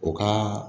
O ka